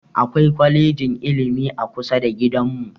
Akwai kwalejin ilimi a kusa da gidan mu